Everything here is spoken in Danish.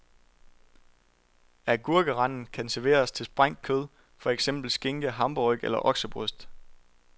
Agurkeranden kan serveres til sprængt, kød, for eksempel skinke, hamburgerryg eller oksebryst.